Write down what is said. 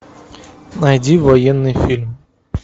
найди военный фильм